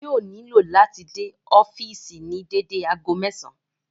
Yóò nílò láti dé ọ́fìsì ní dédé ago mẹ́sàn-àn